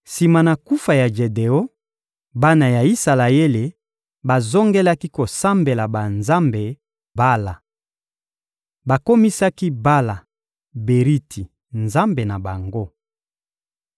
Sima na kufa ya Jedeon, bana ya Isalaele bazongelaki kosambela banzambe Bala. Bakomisaki Bala-Beriti nzambe na bango.